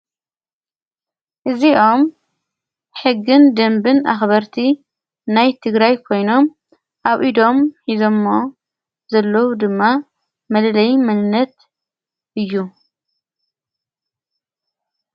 እዚኦም ሕግን ደምብን ኣኽበርቲ ናይ ትግራ ይ ኮይኖም ኣብ ኢዶም ኂዞእሞ ዘለዉ ድማ መለለይ ምልነት እዩ።